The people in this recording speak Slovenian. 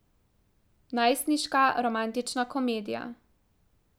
Najstniška romantična komedija.